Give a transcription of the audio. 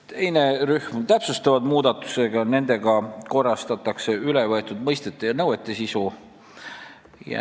Teine rühm on täpsustavad muudatused, millega korrastatakse ülevõetud mõistete ja nõuete sisu.